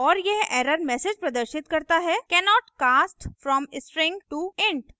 और यह error message प्रदर्शित करता है cannot cast from string to int